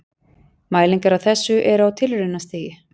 Mælingar á þessu eru á tilraunastigi.